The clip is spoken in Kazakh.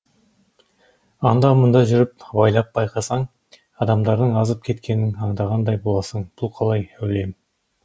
анда мұнда жүріп абайлап байқасаң адамдардың азып кеткенін аңдағандай боласың бұл қалай әулием